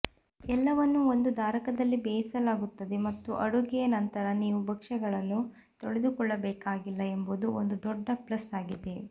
ಎಲ್ಲವನ್ನೂ ಒಂದು ಧಾರಕದಲ್ಲಿ ಬೇಯಿಸಲಾಗುತ್ತದೆ ಮತ್ತು ಅಡುಗೆಯ ನಂತರ ನೀವು ಭಕ್ಷ್ಯಗಳನ್ನು ತೊಳೆದುಕೊಳ್ಳಬೇಕಾಗಿಲ್ಲ ಎಂಬುದು ಒಂದು ದೊಡ್ಡ ಪ್ಲಸ್ ಆಗಿದೆ